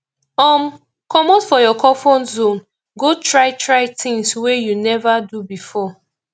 um comot for your comfort zone go try try things wey you nova do before